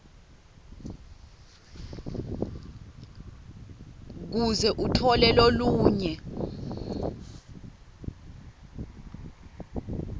kuze utfole lolunye